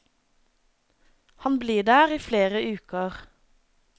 Han blir der i flere uker.